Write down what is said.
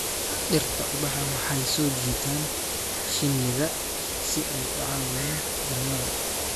Dhirta ubaxa waxay soo jiitaan shinnida si ay u caawiyaan dhalmada.